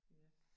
Ja